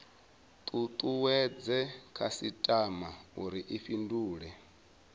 tutuwedze khasitama uri i fhindule